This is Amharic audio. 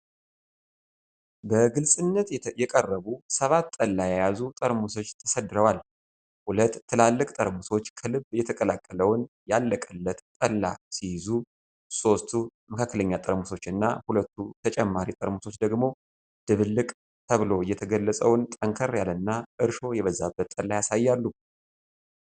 በግልጽነት የቀረቡ ሰባት ጠላ የያዙ ጠርሙሶች ተሰድረዋል፡፡ ሁለት ትላልቅ ጠርሙሶች ከልብ የተቀላቀለውን "ያለቀለት" ጠላ ሲይዙ፣ ሶስቱ መካከለኛ ጠርሙሶች እና ሁለቱ ተጨማሪ ጠርሙሶች ደግሞ "ድብልቅ" ተብሎ የተገለጸውን ጠንከር ያለና እርሾ የበዛበት ጠላ ያሳያሉ፡፡